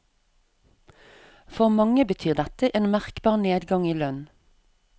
For mange betyr dette en merkbar nedgang i lønn.